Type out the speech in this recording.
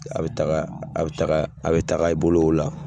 A bɛ taga a bɛ taga a bɛ taga i bolo o la.